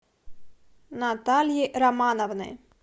натальи романовны